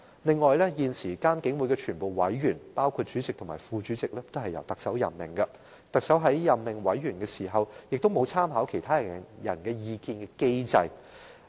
此外，監警會現時所有委員，包括主席和副主席，均由特首任命，而特首在任命委員時，亦沒有參考他人意見的機制。